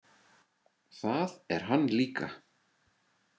Það er hann líka.